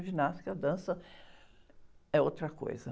A ginástica e a dança, é outra coisa.